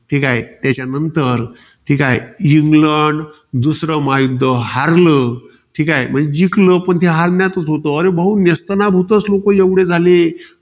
ठीकाय. त्याच्यानंतर ठीकाय. इंग्लंड, दुसरं महायुध्द हारल. ठीकाय. म्हणजे जिंकलं, पण ते हरल्यातच होतं. अरे भाऊ नेस्तनाभूतचं लोकं एवढे झाले.